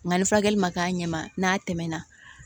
Nka ni furakɛli ma k'a ɲɛ ma n'a tɛmɛna